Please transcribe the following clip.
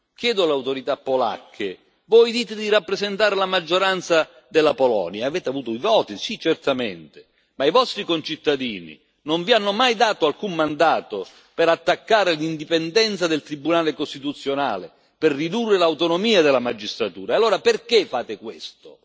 Chiedo alle autorità polacche voi dite di rappresentare la maggioranza della Polonia avete avuto i voti, sì certamente ma i vostri concittadini non vi hanno mai dato alcun mandato per attaccare l'indipendenza del Tribunale costituzionale, per ridurre l'autonomia della magistratura, e allora perché fate questo?